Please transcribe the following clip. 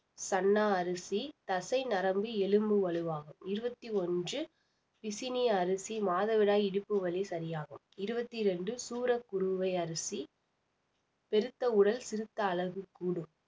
சன்னா அரிசி தசை நரம்பு எலும்பு வலுவாகும் இருவத்தி ஒன்று பிசினி அரிசி மாதவிடாய் இடுப்பு வலி சரியாகும் இருவத்தி ரெண்டு சூரக்குறுவை அரிசி பெருத்த உடல் சிறுத்த அளவு கூடும்